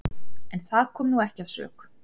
En það kom nú ekki að sök.